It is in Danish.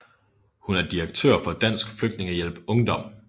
Hun er direktør for Dansk Flygtningehjælp Ungdom